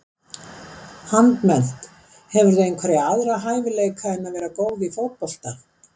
Handmennt Hefurðu einhverja aðra hæfileika en að vera góð í fótbolta?